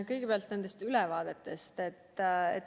Kõigepealt nendest ülevaadetest.